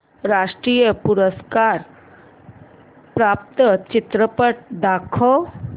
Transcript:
राष्ट्रीय पुरस्कार प्राप्त चित्रपट दाखव